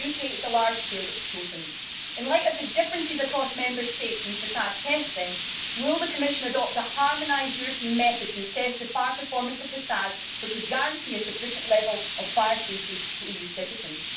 In the UK, it is the large scale that it is chosen. In the light of the differences across Member States in facade testing, will the Commission adopt a harmonised European method to assess the fire performance of facades, which would guarantee a sufficient level of fire safety to EU citizens?